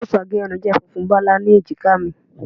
Cape agerun je funfun balau ni ejika mi